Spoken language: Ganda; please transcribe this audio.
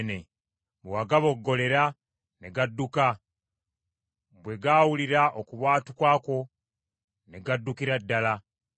Bwe wagaboggolera ne gadduka; bwe gaawulira okubwatuka kwo ne gaddukira ddala;